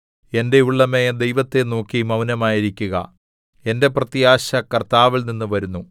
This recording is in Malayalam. എന്റെ ഉള്ളമേ ദൈവത്തെ നോക്കി മൗനമായിരിക്കുക എന്റെ പ്രത്യാശ കർത്താവിൽനിന്ന് വരുന്നു